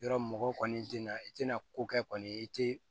Yɔrɔ mɔgɔw kɔni tɛna i tɛna ko kɛ kɔni i tɛ